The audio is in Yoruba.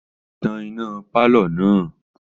Tan iná pálọ̀ náà!